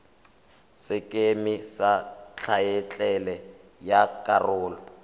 sekeme sa thaetlele ya karolo